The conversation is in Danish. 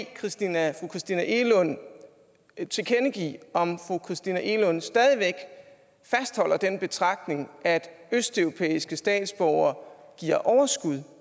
christina egelund tilkendegive om fru christina egelund stadig væk fastholder den betragtning at østeuropæiske statsborgere giver overskud